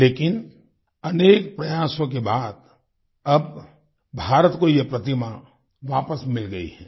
लेकिन अनेक प्रयासों के बाद अब भारत को ये प्रतिमा वापस मिल गई है